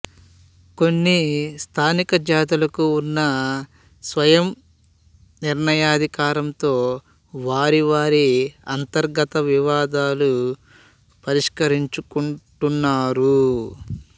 కొన్ని స్థానిక జాతులకు ఉన్న స్వయంనిర్ణయాధికారంతో వారివారి అంతర్గత వివాదాలు పరిష్కరించుకుంటున్నారు